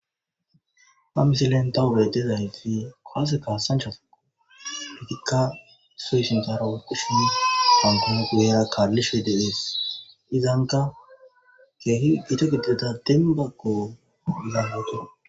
Ha misilen dawugey dezaaleti koaseka sanchofo oletikka suy sintaro okishin tankono gugheera kaallishwededees izanka keehi gito gidideta denbaggo laaloto